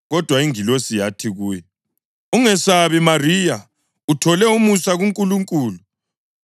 Kodwa ingilosi yathi kuye, “Ungesabi Mariya, uthole umusa kuNkulunkulu.